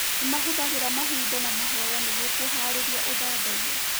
Nĩ mahũthagĩra mahinda ma mahoya nĩguo kũhaarĩria ũthathaiya.